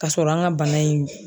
Ka sɔrɔ an ka bana in